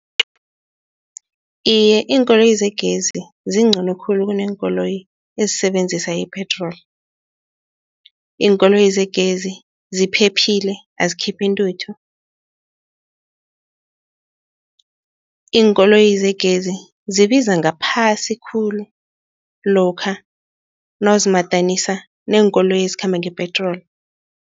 Iye, iinkoloyi zegezi zingcono khulu kuneenkoloyi ezisebenzisa ipetroli. Iinkoloyi zegezi ziphephile azikhiphi intuthu. Iinkoloyi zegezi zibiza ngaphasi khulu lokha nawuzimadanisa neenkoloyi ezikhamba ngepetroli.